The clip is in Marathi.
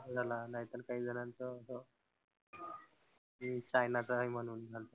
नाहीतर कांही जणांचं असं चायनाचा आहे म्हणून.